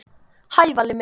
Hæ, Valli minn.